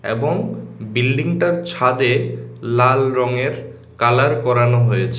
এবং বিল্ডিং -টার ছাদে লাল রঙের কালার করানো হয়েছে।